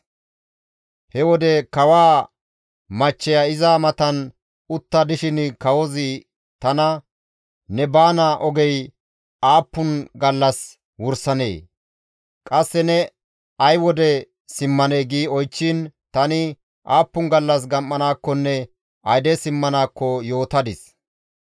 He wode kawaa machcheya iza matan utta dishin kawozi tana, «Ne baana ogey aappun gallas wursanee? Qasse ne ay wode simmanee?» gi oychchiin tani aappun gallas gam7anaakkonne, ayde simmanaakko yootadis.